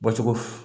Bɔcogo f